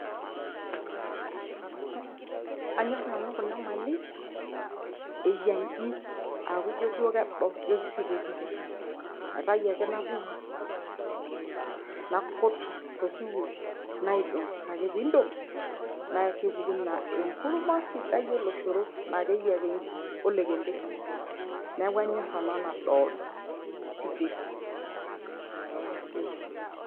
anyorr nanu kuna mali eyia inji aaku injio duo kedo ijio kisiteti aitai ae napupu nakut tosiwuo naidong ore ake pindong' nakepuku naa enkurma sidai oloshoro naa keyia ake inji olokembe neeku anyorr ena nadoodo siteti ashe.